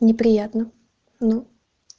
неприятно ну